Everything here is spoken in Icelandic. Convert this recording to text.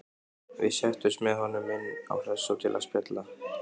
Við settumst með honum inn á Hressó til að spjalla.